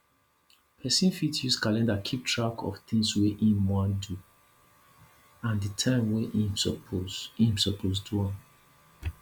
person fit use calendar keep track of tins wey im wan do and the time wey im suppose im suppose do am